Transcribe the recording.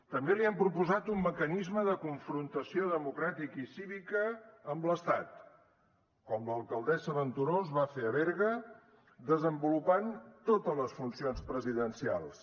també li hem proposat un mecanisme de confrontació democràtica i cívica amb l’estat com l’alcaldessa venturós va fer a berga desenvolupant totes les funcions presidencials